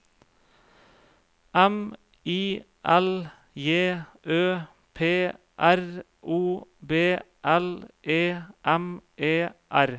M I L J Ø P R O B L E M E R